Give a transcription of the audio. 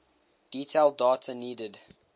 detailed data needed